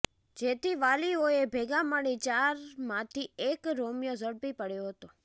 જેથી વાલીઓએ ભેગા મળી ચારમાંથી એક રોમિયો ઝડપી પાડ્યો હતો